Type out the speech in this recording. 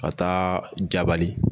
Ka taa Jabali